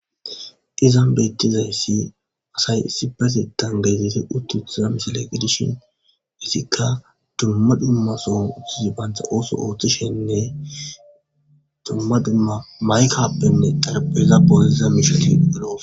Izan beettizayssi asay issipasetan gezite uttiuthiza misile gidishin issikka dumma dummason utthizi bantha ooso ooththishenne dumma dimma maykappenne darpeza boosiza mishuti eroos.